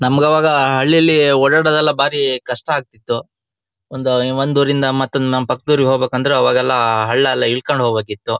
ನಮ್ಗ ಅವಾಗ ಹಳ್ಳಿಯಲ್ಲಿ ಓಡಾಡೋದ್ದು ಬಾರಿ ಕಷ್ಟ ಆಗ್ತಿತ್ತು ಒಂದ ಹ ಒಂದ್ ಊರಿಂದ ಮತ್ತೊಂದ್ ನಮ್ ಪಕ್ಕದೂರಿಗೆ ಹೋಗ್ಬೇಕು ಅಂದ್ರೆ ಅವಾಗೆಲ್ಲ ಹಳ್ಳ ಎಲ್ಲ ಇಳ್ಕೊಂಡು ಹೋಗ್ಬೇಕಿತ್ತು.